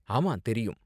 ஆமா, தெரியும்.